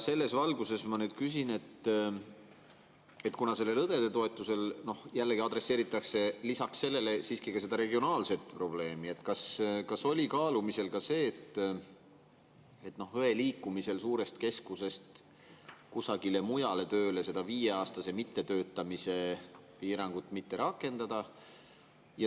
Selles valguses ma nüüd küsin, et kuna selle õdede toetusega jällegi adresseeritakse lisaks sellele siiski ka seda regionaalset probleemi, siis kas oli kaalumisel see, et õe liikumisel suurest keskusest kusagile mujale tööle seda viieaastase mittetöötamise piirangut mitte rakendada.